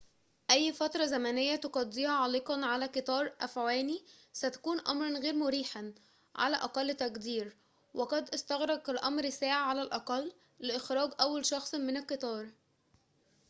أي فترة زمنية تقضيها عالقًا على قطار أفعواني ستكون أمراً غير مريحاً على أقل تقدير وقد استغرق الأمر ساعة على الأقل لإخراج أول شخص من القطار